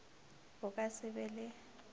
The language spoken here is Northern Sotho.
o ka se be le